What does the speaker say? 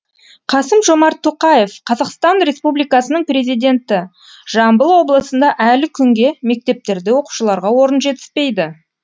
қасым жомарт тоқаев қазақстан республикасының президенті жамбыл облысында әлі күнге мектептерде оқушыларға орын жетіспейді